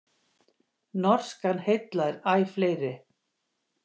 Norskan heillar æ fleiri